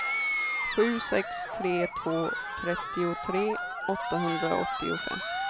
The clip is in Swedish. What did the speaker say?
sju sex tre två trettiotre åttahundraåttiofem